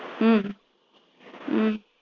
ஹம் ஹம்